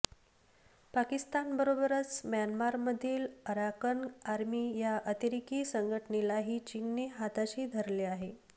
पाकिस्तानबरोबरच म्यानमारमधील Arakan army या अतिरेकी संघटनेलाही चीनने हाताशी धरले आहे